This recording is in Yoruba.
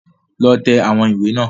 Lọ tẹ̀ àwọn ìwé náà